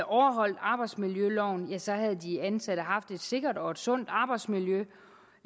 overholdt arbejdsmiljøloven ja så havde de ansatte haft et sikkert og et sundt arbejdsmiljø